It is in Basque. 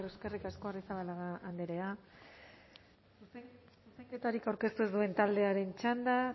eskerrik asko arrizabalaga andrea zuzenketarik aurkeztu ez duen taldearen txanda